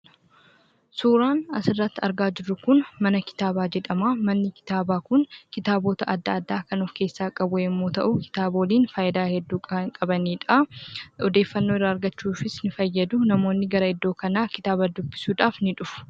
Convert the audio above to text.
Suuraan asirratti argaa jirru kun, Mana kitaaba jedhama Manni kitaaba kun, kitaaboota addaa addaa kan of keessa qabu yemmu ta'u, kitaaboliin faayidaa hedduu kan qabanidha. odeeffannoo irra argachuufis ni fayyadu namoonni gara kana kitaaba dubbisudhaf ni dhufu.